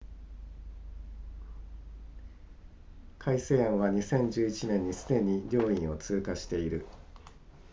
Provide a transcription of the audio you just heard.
改正案は2011年にすでに両院を通過している